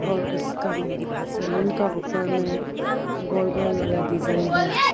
और उसका सामने का ऊपर में गोल गोल वाला डिजाइन ।